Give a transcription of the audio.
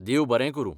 देव बरें करूं.